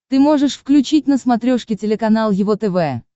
ты можешь включить на смотрешке телеканал его тв